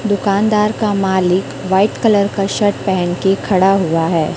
दुकानदार का मालिक व्हाइट कलर का शर्ट पहन के खड़ा हुआ है।